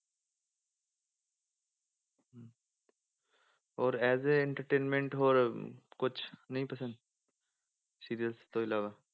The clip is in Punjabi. ਔਰ as a entertainment ਹੋਰ ਕੁਛ ਨੀ ਪਸੰਦ serials ਤੋਂ ਇਲਾਵਾ?